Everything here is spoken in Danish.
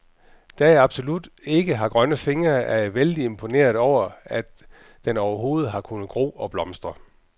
Da jeg absolut ikke har grønne fingre, er jeg vældig imponeret over, at den overhovedet har kunnet gro og blomstre.